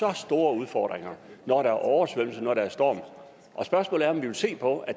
har store udfordringer når der er oversvømmelse når der er storm og spørgsmålet er om vi vil se på at